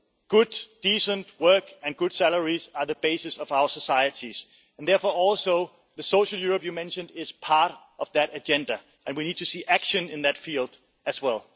Good decent work and good salaries are the basis of our societies, and therefore also the social Europe you mentioned is part of that agenda and we need to see action in that field as